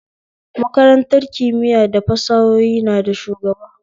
Makarantar kimiya da fasahohi na da shugaba